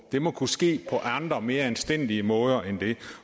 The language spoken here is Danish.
det må kunne ske på andre og mere anstændige måder